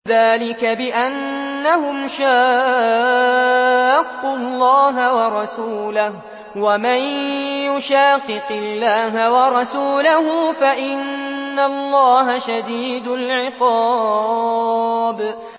ذَٰلِكَ بِأَنَّهُمْ شَاقُّوا اللَّهَ وَرَسُولَهُ ۚ وَمَن يُشَاقِقِ اللَّهَ وَرَسُولَهُ فَإِنَّ اللَّهَ شَدِيدُ الْعِقَابِ